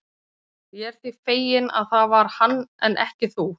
Ég er því feginn, að það var hann en ekki þú.